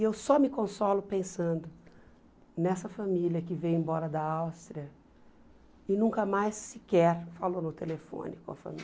E eu só me consolo pensando nessa família que veio embora da Áustria e nunca mais sequer falou no telefone com a família.